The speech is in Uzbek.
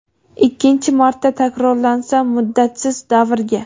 ikkinchi marta takrorlansa muddatsiz davrga).